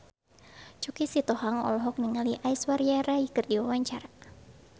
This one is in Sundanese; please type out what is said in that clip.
Choky Sitohang olohok ningali Aishwarya Rai keur diwawancara